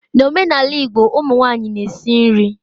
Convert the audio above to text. N'omenala Igbo ụmụ nwanyị na-esi nri.